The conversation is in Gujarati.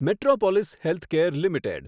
Metropolis Healthcare limited